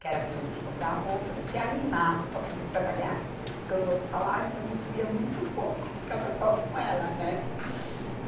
que era para a gente comprar roupa e se animar para poder trabalhar, porque os outros salários a gente via muito pouco, ficava só com ela, né?